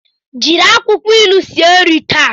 Jiri akwukwo ilu sie nri taa!